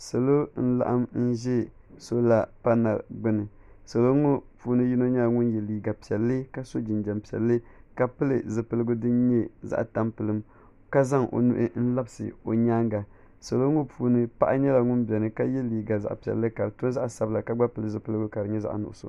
Salo n laɣim n zɛ sola panali gbubi ni salo ŋɔ puuni yino nyɛla ŋuni ye liiga piɛlli ka so jinjam piɛlli ka pili zupiligu dini nyɛ zaɣi tampiligim ka zaŋ o nuhi n labisi o yɛanga salo ŋɔ puuni paɣa nyɛla ŋuni bɛni ka ye liiga zaɣi piɛlli ka di to zaɣi sabila ka gba pili zupiligu ka di nyɛ zaɣi nuɣiso.